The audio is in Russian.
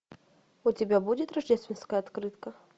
у тебя будет рождественская открытка